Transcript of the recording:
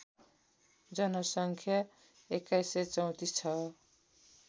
जनसङ्ख्या २१३४ छ